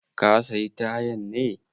Ka sayi tayan ne?